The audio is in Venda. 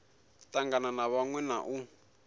tangana na vhaṅwe na u